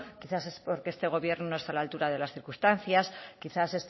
quizás es porque este gobierno no está a la altura de las circunstancias quizás